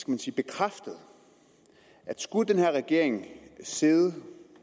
man sige bekræftet at skulle den her regering sidde